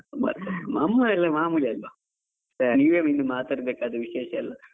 ನಮ್ಮದೆಲ್ಲ ಮಾಮೂಲಿ ಅಲ್ವಾ, ನೀವೇ ಇನ್ನು ಮಾತಾಡ್ಬೇಕು ವಿಶೇಷ ಎಲ್ಲ.